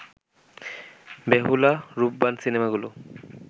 বেহুলা, রূপবান সিনেমাগুলো